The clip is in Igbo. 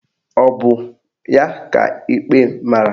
Ọ bụ ya ka ikpe mara?